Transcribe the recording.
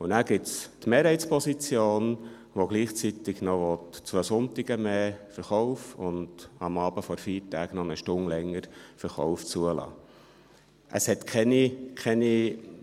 Und dann gibt es die Mehrheitsposition, die gleichzeitig noch den Verkauf an zwei zusätzlichen Sonntagen und den um eine Stunde verlängerten Verkauf am Abend vor Feiertagen zulassen will.